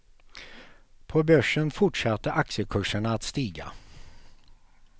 På börsen fortsatte aktiekurserna att stiga.